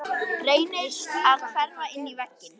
Reynir að hverfa inn í vegginn.